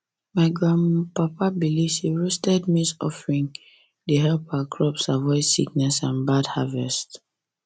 my grandpapa believe say roasted maize offering dey help our crops avoid sickness and bad harvest